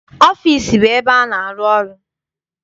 Ọfịịsi bụ ebe a na-arụ ọrụ.